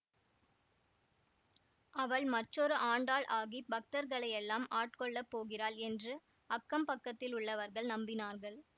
அவள் மற்றொரு ஆண்டாள் ஆகிப் பக்தர்களையெல்லாம் ஆட்கொள்ளப் போகிறாள் என்று அக்கம் பக்கத்திலுள்ளவர்கள் நம்பினார்கள்